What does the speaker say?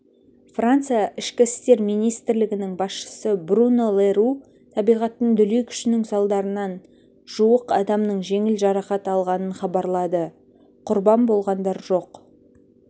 франция ішкі істер министрлігінің басшысы бруно ле ру табиғаттың дүлей күшінің салдарынан жуық адамның жеңіл жарақат алғанын хабарлады құрбан болғандар жоқ